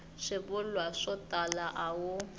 swivulwa swo tala a wu